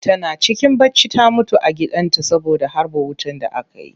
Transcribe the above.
Tana cikin bacci ta mutu a gidan ta saboda harbo wutan da aka yi